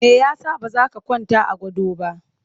Me ya sa ba za ka kwanta a gado ba?